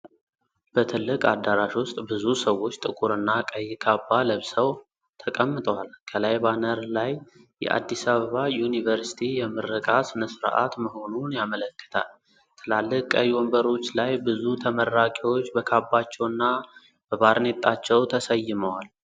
በትልቅ አዳራሽ ውስጥ ብዙ ሰዎች ጥቁር እና ቀይ ካባ ለብሰው ተቀምጠዋል። ከላይ ባነር ላይ የአዲስ አበባ ዩኒቨርሲቲ የምረቃ ሥነ-ሥርዓት መሆኑን ያመለክታል፤ ትላልቅ ቀይ ወንበሮች ላይ ብዙ ተመራቂዎች በካባቸውና በባርኔጣቸው ተሰይመዋል።